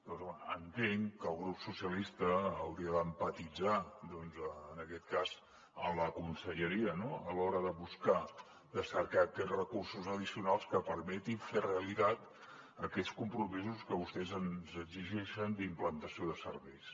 doncs bé entenc que el grup socialistes hauria d’empatitzar en aquest cas amb la conselleria no a l’hora de buscar de cercar aquests recursos addicionals que permetin fer realitat aquells compromisos que vostès ens exigeixen d’implantació de serveis